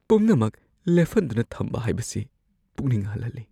ꯄꯨꯝꯅꯃꯛ ꯂꯦꯞꯍꯟꯗꯨꯅ ꯊꯝꯕ ꯍꯥꯏꯕꯁꯤ ꯄꯨꯛꯅꯤꯡ ꯍꯟꯍꯜꯂꯤ꯫